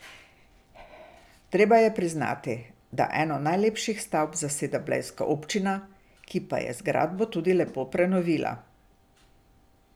Treba je priznati, da eno najlepših stavb zaseda blejska občina, ki pa je zgradbo tudi lepo prenovila.